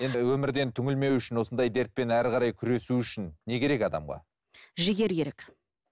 енді өмірден түнілмеу үшін осындай дертпен әрі қарай күресу үшін не керек адамға жігер керек